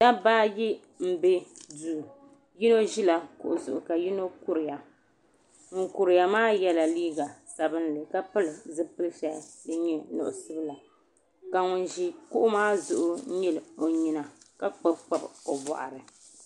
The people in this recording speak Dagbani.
Dabba ayi m be duu yino ʒila kuɣu zuɣu ka yino n kuriya ŋun kuriya maa yela liiga sabinli ka pili zipil shɛli din nyɛ nuɣuso la ka ŋun ʒi kuɣu maa zuɣu nyili o nyina ka kpabikpabi o boɣuri.